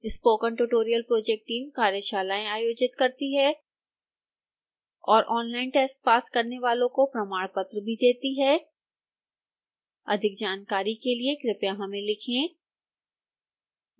spoken tutorial project team कार्यशालाएं आयोजित करती है और ऑनलाइन टेस्ट पास करने वाले को प्रमाणपत्र भी देते हैं अधिक जानकारी के लिए कृपया हमें लिखें